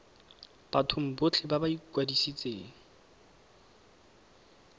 bathong botlhe ba ba ikwadisitseng